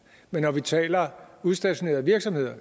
men når vi taler udstationerede virksomheder